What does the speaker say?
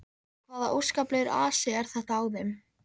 Hvaða óskaplegur asi er þetta á þeim.